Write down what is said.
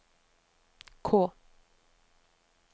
K